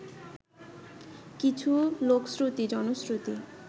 কিছু লোকশ্রুতি, জনশ্রুতি